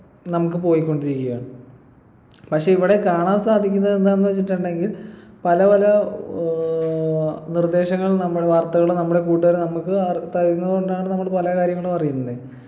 നമുക്ക് പോയിക്കൊണ്ടിരിക്കയാണ് പക്ഷെ ഇവിടെ കാണാൻ സാധിക്കുന്നത് എന്താന്ന് വച്ചിട്ടുണ്ടെങ്കിൽ പല പല ഏർ നിർദേശങ്ങൾ നമ്മള് വാര്‍ത്തകള് നമ്മളെ കൂട്ടുകാര് നമ്മക്ക് അർ തരുന്നകൊണ്ടാണ് നമ്മള് പല കാര്യങ്ങളും അറിയുന്നെ